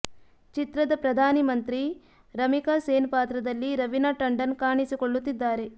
ಚಿತ್ರದ ಪ್ರಧಾನಿ ಮಂತ್ರಿ ರಮಿಕಾ ಸೇನ್ ಪಾತ್ರದಲ್ಲಿ ರವಿನಾ ಟಂಡನ್ ಕಾಣಿಸಿಕೊಳ್ಳುತ್ತಿದ್ದಾರೆ